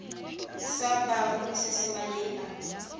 sa barui se se maleba